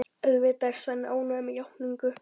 Auðvitað er Svenni ánægður með játninguna.